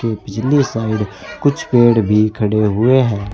पिछली साइड कुछ पेड़ भी खड़े हुए हैं।